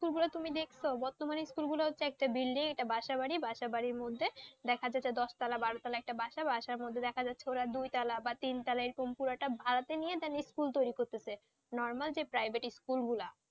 স্কুলগুলো তুমি দেখছ বর্তমানে স্কুলগুলো হচ্ছে বিল্ডিং একটা বাসাবাড়ী বাসাবাড়ির মধ্যে দেখা যাচ্ছে যে দশতলা বারো তলা একটা বাসাবাসার মধ্যে দেখা যাচ্ছে যে ওরা দুই তলা বা তিন তলা এরকম পুরোটা ভাড়াতে নিয়ে school তৈরি করছে normal যে private school গুলো?